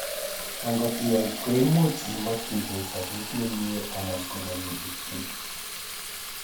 angot iyai, koimuch imokyigei sobet nemie anan konenegityin